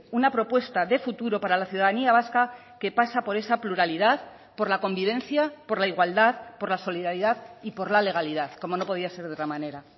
una propuesta de futuro para la ciudadanía vasca que pasa por esa pluralidad por la convivencia por la igualdad por la solidaridad y por la legalidad como no podía ser de otra manera